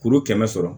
Kuru kɛmɛ sɔrɔ